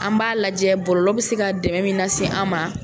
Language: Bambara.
An b'a lajɛ bɔlolɔ bɛ se ka dɛmɛn min lase an ma.